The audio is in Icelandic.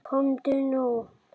Komdu nú!